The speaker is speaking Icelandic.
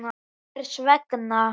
Hvers vegna?